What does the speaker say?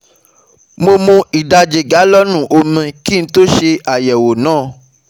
Mo mu ìdajì galọ́ọ̀nù omi kí n tó ṣe àyẹ̀wò náà